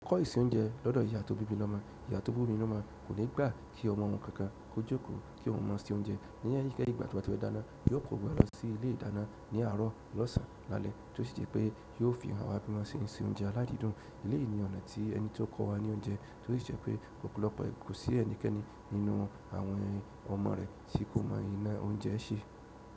Kọ ìse oúnjẹ lọ́dọ̀ ìyá tó bími lọ́mo. Ìyá tó bímí lọ́mú kò ní gbà kí ọmọ òun kankan ó jókòó kí oun mọ sí oúnjẹ, ní ìgbà tí ọ ba tí fe dáná yóò ko gbogbo wá lọ sí ilé ìdáná ní àárọ̀ lọ́sàn áti lálẹ́ tí ó ṣì jẹ́ pé yóò fi hàn wá bí wọ́n ṣe ń se oúnjẹ aládìídùn eléyi ni ọ̀nà tí ẹni tí kọ́ wa ní oúnjẹ tí ó ṣi jepé ọ́pọ̀lopo kò sí ẹnì keni nínú àwọn ọmọ rẹ̀ tí kò mọ ina oúnjẹ ṣe.